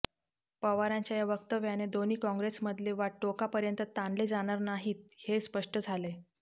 पवारांच्या या वक्तव्याने दोन्ही काँग्रेसमधले वाद टोकापर्यंत ताणले जाणार नाहीत हे स्पष्ट झालय